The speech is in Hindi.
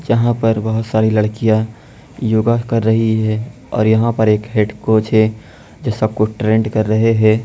यहाँ पर बहुत सारी लड़कियाँ योगा कर रही है ओर यहाँ पर एक हेड कोच है जो सबको ट्रेंड कर रहे हैं ।